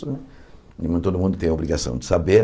Todo mundo tem a obrigação de saber.